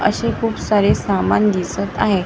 अशी खूप सारे सामान दिसत आहे लाईट --